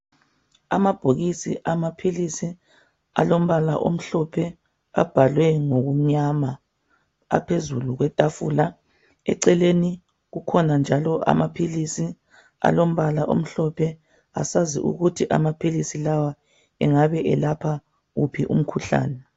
Amabhokisi amaphilisi alombala omhlophe abhalwe ngombala omnyama aphezulu kwetafula. Eceleni kukhona amaphilisi alombala omhlophe. Asazi ukuthi amaphilisi lawa angabe elapha uphi umkhuhlane.